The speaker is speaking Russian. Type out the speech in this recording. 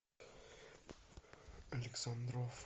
александров